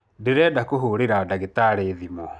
Ndĩrenda kũhũrira ndagĩtarĩ thimũ.